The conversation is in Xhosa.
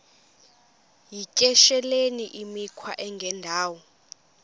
yityesheleni imikhwa engendawo